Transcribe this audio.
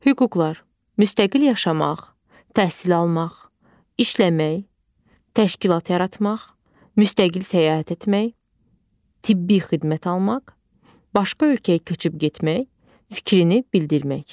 Hüquqlar: Müstəqil yaşamaq, təhsil almaq, işləmək, təşkilat yaratmaq, müstəqil səyahət etmək, tibbi xidmət almaq, başqa ölkəyə köçüb getmək, fikrini bildirmək.